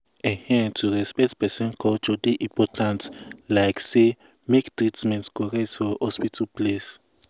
ehn to respect person culture dey important like say make treatment correct for hospital place.